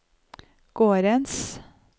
gårdens